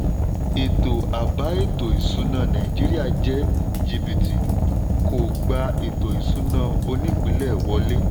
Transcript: ètò àbá ètò ìṣúná nàìjíríà jẹ́ jìbìtì kò gbà ètò ìṣúná onípìlẹ̀ wọlé.